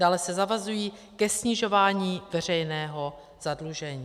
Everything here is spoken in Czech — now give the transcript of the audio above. Dále se zavazují ke snižování veřejného zadlužení.